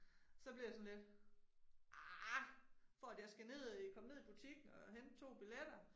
Så blev jeg sådan lidt ah for at jeg skal ned komme ned i butikken og hente 2 billetter?